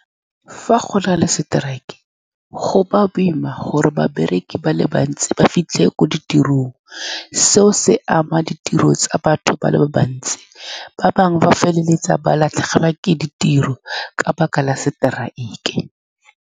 Fa go na le strike, go ba boima gore babereki ba le bantsi ba fitlhe ko ditirong. Seo se ama ditiro tsa batho ba le bantsi, ba bangwe ba feleletsa ba latlhegelwa ke ditiro ka lebaka la seteraeke.